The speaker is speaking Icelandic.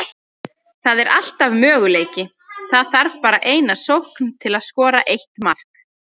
Það er alltaf möguleiki, það þarf bara eina sókn til að skora eitt mark.